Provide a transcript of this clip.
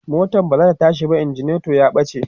motan bazata tashi ba, ignition ya ɓace